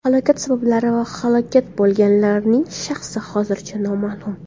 Halokat sabablari va halok bo‘lganlarning shaxsi hozircha noma’lum.